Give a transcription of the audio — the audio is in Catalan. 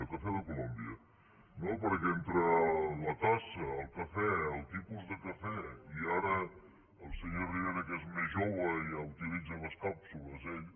cafè de colòmbia no perquè entre la tassa el cafè el tipus de cafè i ara el senyor rivera que és més jove i ja utilitza les càpsules ell